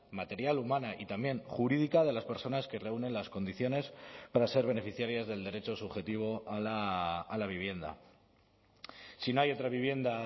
material humana y también jurídica de las personas que reúnen las condiciones para ser beneficiarias del derecho subjetivo a la vivienda si no hay otra vivienda